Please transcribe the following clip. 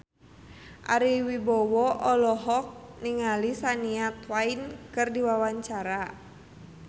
Ari Wibowo olohok ningali Shania Twain keur diwawancara